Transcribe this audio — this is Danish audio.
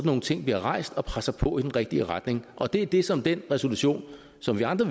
nogle ting bliver rejst og der presser på i den rigtige retning det er det som den resolution som vi andre